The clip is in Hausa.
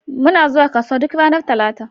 Muna zuwa kasuwa duk ranar Talata.